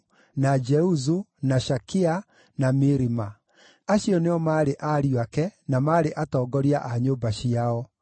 na Jeuzu, na Shakia, na Mirima. Acio nĩo maarĩ ariũ ake, na maarĩ atongoria a nyũmba ciao.